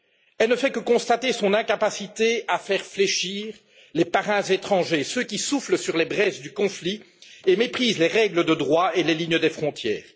Elle ne fait que constater son incapacité à faire fléchir les parrains étrangers, ceux qui soufflent sur les braises du conflit et méprisent les règles de droit et les lignes des frontières.